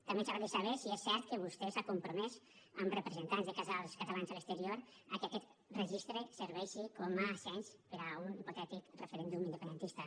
també ens agradaria saber si és cert que vostè s’ha compromès amb representants de casals catalans a l’exterior a que aquest registre serveixi com a cens per a un hipotètic referèndum independentista